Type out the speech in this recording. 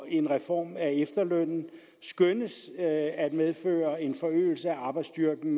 en reform af efterlønnen skønnes at medføre en forøgelse af arbejdsstyrken